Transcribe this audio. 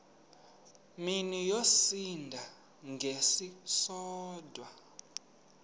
mini yosinda ngesisodwa